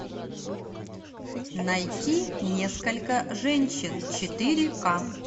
найти несколько женщин четыре к